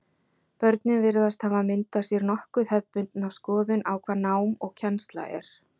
Börnin virðast hafa myndað sér nokkuð hefðbundna skoðun á hvað nám og kennsla er.